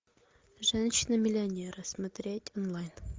женщина миллионер смотреть онлайн